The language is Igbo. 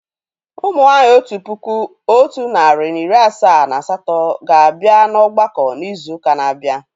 Ụmụ nwanyị otu puku otu nari na iri asaa na asatọ ga abịa na ọgbakọ n'izu uka na abia